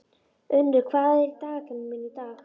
Unnur, hvað er í dagatalinu mínu í dag?